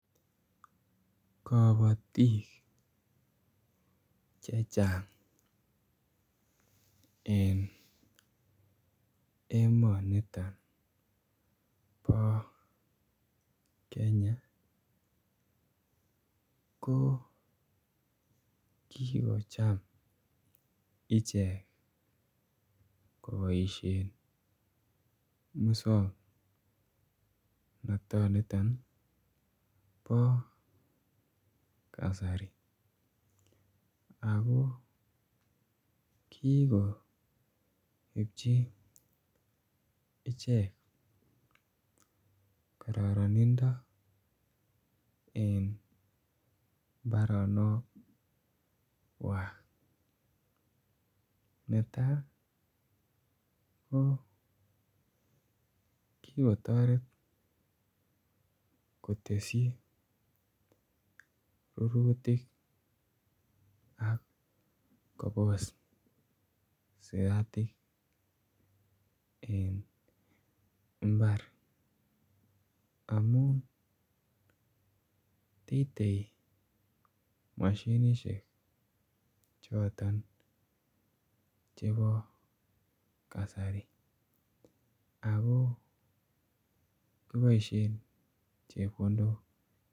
Kobotik chechang en emoniton bo Kenya ko kikocham ichek ko boishen muswong notoni Niton bo kasari ako kigoibji ichek kororonindo en mbaronokwak. Netaa ko kikotoret kotesyi rurutik ak kobos siratik en imbar amun teitei moshinishek choton chebo kasari ako kiboishen chepkondok